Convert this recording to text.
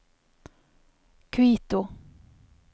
Quito